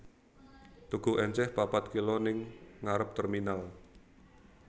Tuku enceh papat kilo ning ngarep terminal